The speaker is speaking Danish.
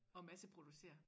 Og masse producere